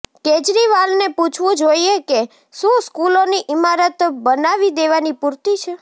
કેજરીવાલને પૂછવું જોઈએ કે શું સ્કૂલોની ઇમારત બનાવી દેવાની પૂરતી છે